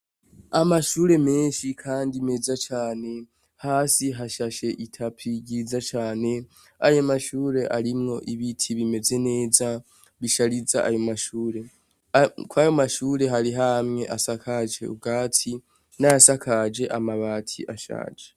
Amashure menshi Kandi meza cane hasi hashashe itapi ryiza Cane ayo mashure arimwo ibiti bimeze neza bishariza ayo mashure Kuri ayo mashure harimwo amwe asakaje ubwatsi nayasakaje amabati ashaje.